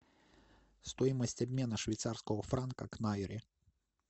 стоимость обмена швейцарского франка к найри